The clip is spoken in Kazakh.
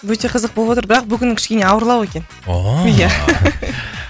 өте қызық болывотыр бірақ бүгін кішкене ауырлау екен